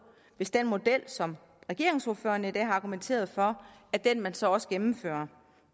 hvis den model som regeringsordførerne i dag har argumenteret for er den man så også gennemfører